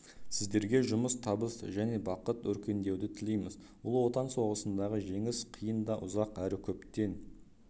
сіздерге жұмыста табыс және бақыт өркендеуді тілейміз ұлы отан соғысындағы жеңіс қиын да ұзақ әрі көптен